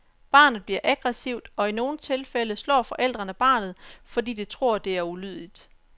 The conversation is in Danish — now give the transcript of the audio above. Barnet bliver aggressivt, og i nogle tilfælde slår forældrene barnet, fordi de tror, at det er ulydigt.